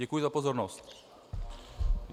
Děkuji za pozornost.